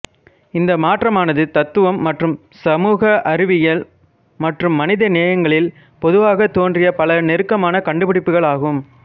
இந்த மாற்றமானது தத்துவம் மற்றும் சமூக அறிவியல் மற்றும் மனிதநேயங்களில் பொதுவாகத் தோன்றிய பல நெருக்கமான கண்டுபிடிப்புகள் ஆகும்